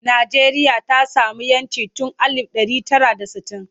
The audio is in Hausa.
Najeriya ta sami 'yancin tun alif ɗari tara da sittin.